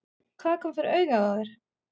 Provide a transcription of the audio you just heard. Hvað kom fyrir augað á þér?